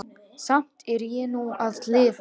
Samt er ég nú að lifa.